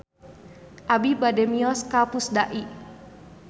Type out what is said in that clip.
Abi bade mios ka Pusdai